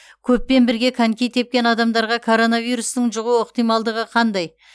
көппен бірге коньки тепкен адамдарға коронавирустың жұғу ықтималдығы қандай